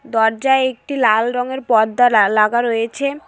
দরজায় একটি লাল রঙের পর্দা লাল লাগা রয়েছে।